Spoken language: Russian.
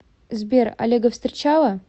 сбер олега встречала